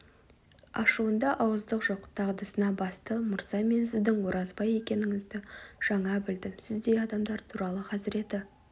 ашуында ауыздық жоқ дағдысына басты мырза мен сіздің оразбай екеніңізді жаңа білдім сіздей адамдар туралы хазіреті